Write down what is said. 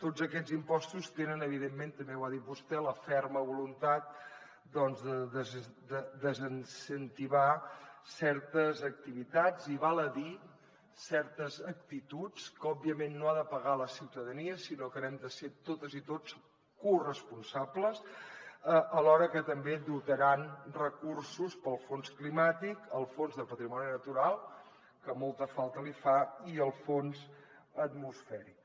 tots aquests impostos tenen evidentment també ho ha dit vostè la ferma voluntat doncs de desincentivar certes activitats i val a dir certes actituds que òbviament no ha de pagar la ciutadania sinó que n’hem de ser totes i tots corresponsables alhora que també dotaran recursos per al fons climàtic el fons de patrimoni natural que molta falta li fa i el fons atmosfèric